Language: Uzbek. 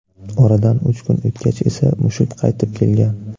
Oradan uch kun o‘tgach esa mushuk qaytib kelgan.